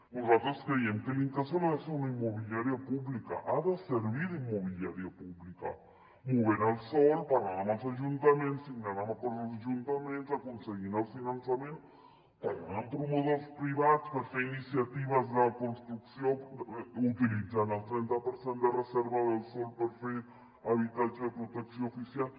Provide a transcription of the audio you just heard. nosaltres creiem que l’incasòl ha de ser una immobiliària pública ha de servir d’immobiliària pública movent el sòl parlant amb els ajuntaments signant acords amb els ajuntaments aconseguint el finançament parlant amb promotors privats per fer iniciatives de construcció utilitzant el trenta per cent de reserva del sòl per fer habitatge de protecció oficial